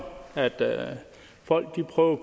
folk prøver